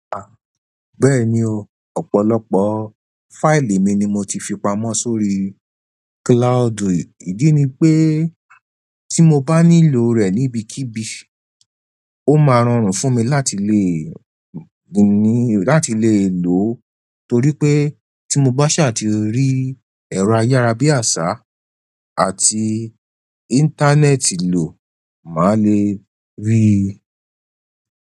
Bẹ́ẹ̀ni o, ọ̀pọ̀lọpọ̀ fáìlì mi ni mo ti fi pamọ́ sórí cloudu. Ìdí ni pé tí mo bá nílò rẹ̀ níbikíbi, ó máa rọrùn fún mi láti le mu ni, láti le lo o torí pé tí mo bá ṣaà tì rí ẹ̀rọ ayárabíàṣá àti íńtánẹ́ẹ̀tì lò, màá le rí i.